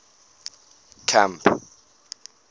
camp